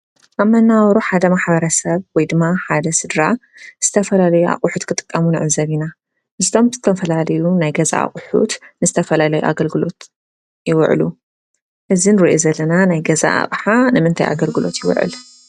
ኣብ መነባብሮ ሓደ ማሕበረሰብ ወይ ድማ ሓደ ስድራ ዝተፈላለዩ ኣቑሑት ክጥቀሙ ንዕዘብ ኢና፡፡ እዞም ዝተፈላለዩ ናይ ገዛ ኣቑሑት ንዝተፈላለየ ኣገልግሎት ይውዕሉ፡፡ እዚ ንሪኦ ዘለና ናይ ገዛ ኣቕሓ ንምንታይ ኣገልግሎት ይውዕል?